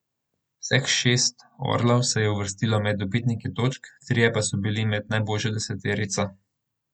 Vseh šest orlov se je uvrstilo med dobitnike točk, trije pa so bili med najboljšo deseterico.